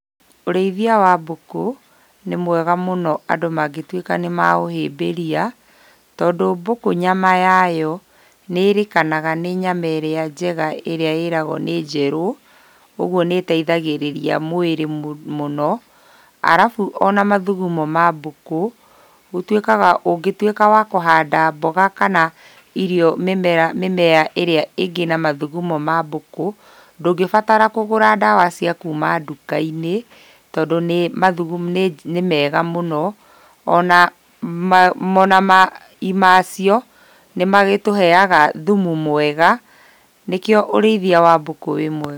Ũrĩithia wa mbũkũ nĩ mwega mũno andũ mangĩtuĩka nĩmaũhĩmbĩria tondũ mbũkũ nyama yayo nĩĩrĩkanaga nĩ nyama ĩrĩa njega ĩrĩa ĩragwo nĩ njerũ ũguo nĩiteithagĩrĩria mwĩrĩ mũno arafu ona mathugumo ma mbũkũ, gũtuĩkaga ũngĩtuĩka wa kũhanda mboga kana mĩmera ĩrĩa ĩngĩ na mathugumo ma mbũkũ ndũngĩbatara kũgura ndawa cia kuuma nduka-inĩ tondũ nĩmega mũno ona mai macio nĩmatũheaga thumu mwega nĩkĩo ũrĩithia wa mbũkũ wĩ mwega.